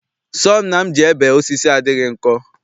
Sọọ nna m ji ebe osisi adịghị nkọ.